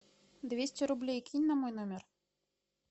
двести рублей кинь на мой номер